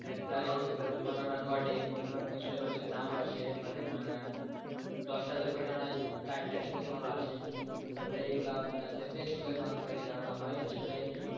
প্রায় যেগুলা দুর্ঘটনা ঘটে অন্য news pepper যদি নাও আসে মানে মনে করেন দশটা দুর্ঘটনায় চারটাতে প্রথমআলো আসে এইগুলা আপনার ফেসবুকের মাধ্যমে জানানো হয় আসলে